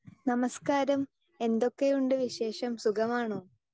Speaker 2 നമസ്കാരം. എന്തൊക്കെയുണ്ട് വിശേഷം സുഖമാണോ?